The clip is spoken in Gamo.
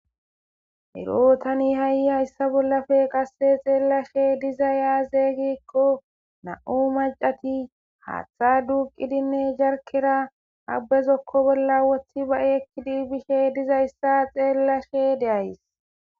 ero tani ha'i haysa bolli qasse xeellashe dizay aaze gikon e na'u macati haaththa duuqidinne jarkera ha be zokko bolla wothi ba'i ekkid bishe diza myssa xeellashe de'ays